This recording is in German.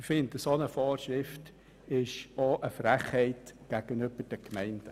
Eine derartige Vorschrift ist eine Frechheit gegenüber den Gemeinden.